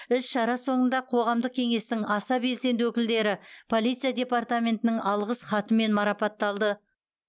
іс шара соңында қоғамдық кеңестің аса белсенді өкілдері полиция департаментінің алғыс хатымен марапатталды